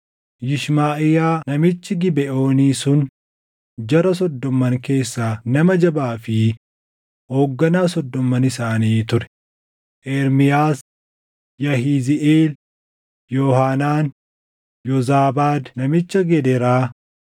Yishmaʼiyaa namichi Gibeʼoonii sun jara Soddomman keessaa nama jabaa fi hoogganaa Soddomman isaanii ture; Ermiyaas, Yahiziiʼeel, Yoohaanaan, Yoozaabaad namicha Gedeeraa,